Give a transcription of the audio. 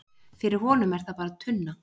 fyrir honum er það bara tunna